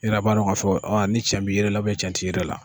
I yɛrɛ b'a dɔn k'a fɔ ni cɛ b' i yɛrɛ la ni cɛn t'i yɛrɛ la.